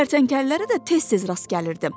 Kərtənkələlərə də tez-tez rast gəlirdim.